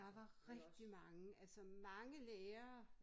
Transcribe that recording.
Der var rigtig mange altså mange lærere